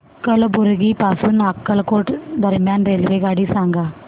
कालाबुरागी पासून अक्कलकोट दरम्यान रेल्वेगाडी सांगा